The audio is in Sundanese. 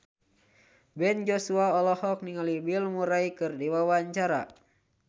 Ben Joshua olohok ningali Bill Murray keur diwawancara